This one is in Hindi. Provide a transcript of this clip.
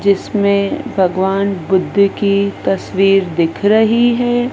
जिसमें भगवान बुद्ध की तस्वीर दिख रही है।